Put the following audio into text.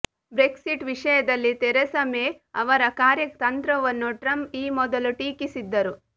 Brexit ವಿಷಯದಲ್ಲಿ Theresa May ಅವರ ಕಾರ್ಯತಂತ್ರವನ್ನು ಟ್ರಂಪ್ ಈ ಮೊದಲು ಟೀಕಿಸಿದ್ದರು